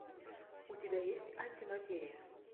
у тебя есть антиматерия